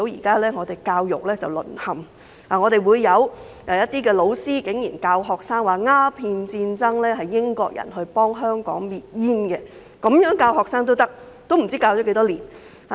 正如大家現在可見，竟然有老師教導學生時指鴉片戰爭的起因是英國人想幫香港滅煙，竟然這樣教學生，不知道這樣教了多久。